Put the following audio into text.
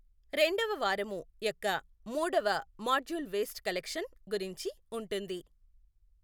రెండవ వారము యొక్క మొూడవ మాడ్యూల్ వేస్ట్ కలెక్షన్ గురించి ఉంటుంది.